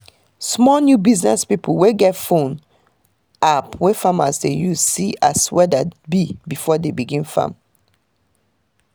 small new business pipo get phone app wey farmers dey use see as weather be before dey begin farm